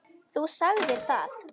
Þú sagðir það.